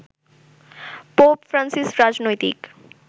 pope Francis রাজনৈতিক